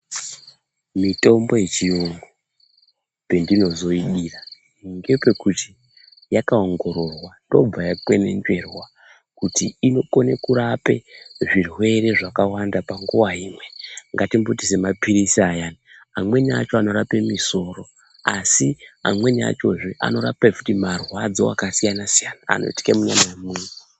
Mitombo yechiyungu, pendinozoidira ngepekuti yakaongororwa yobva yakwenenzverwa kuti inokone kurape zvirwere zvakawanda panguwa imwe. Ngatimboti semaphirisi ayani amweni acho anorape misoro asi amweni achozve anorape marwadzo akasiyana-siyana anoitike munyama yemuntu.